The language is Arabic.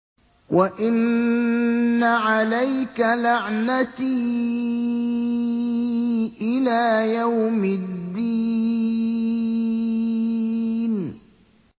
وَإِنَّ عَلَيْكَ لَعْنَتِي إِلَىٰ يَوْمِ الدِّينِ